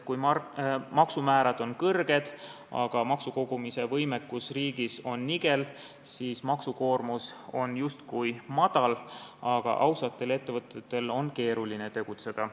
Kui maksumäärad on kõrged, aga maksukogumise võimekus riigis on nigel, siis maksukoormus on justkui madal, aga ausatel ettevõtetel on keeruline tegutseda.